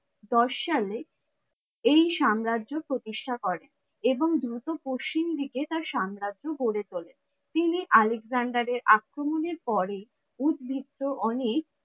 দশ সালে এই সাম্রাজ্য প্রতিষ্ঠা করেন এবং দ্রুত পশ্চিম দিকে তার সাম্রাজ্য গড়ে তোলেন। তিনি আলেকজেন্ডার এর আক্রমনের পরে, উদ্ভিত্ত অনেক